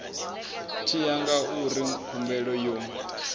tshi ya ngauri khumbelo yo